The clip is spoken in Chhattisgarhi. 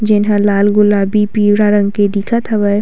जउन ह लाल गुलाबी पीवरा रंग के दिखत हावय।